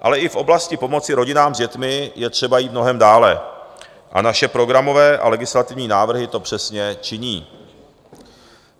Ale i v oblasti pomoci rodinám s dětmi je třeba jít mnohem dále a naše programové a legislativní návrhy to přesně činí.